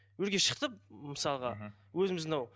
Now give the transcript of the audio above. өрге шықты мысалға мхм өзіміз мынау